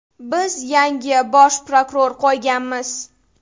Biz yangi bosh prokuror qo‘yganmiz.